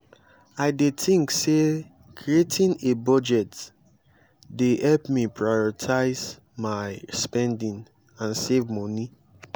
i dey think say creating a budget dey help me prioritize my spending and save monie.